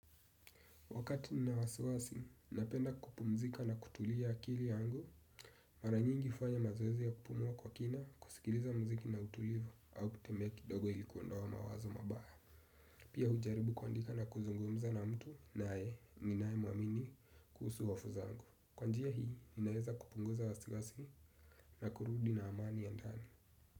Wakati nina waswasi, napenda kupumzika na kutulia akili angu, maranyingi ufanya mazoezi ya kupumua kwa kina kusikiliza muziki na utulivu au kutembea kidogo ilikuondoa mawazo mabaya. Pia hujaribu kuandika na kuzungumza na mtu naye ninaemuamini kuhusu wafu zangu. Kwanjia hii, ninaeza kupunguza wasiwasi na kurudi na amani ya ndani.